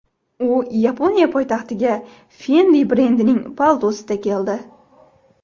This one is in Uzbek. U Yaponiya poytaxtiga Fendi brendining paltosida keldi.